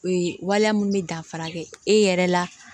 Ee waliya mun bɛ danfara kɛ e yɛrɛ la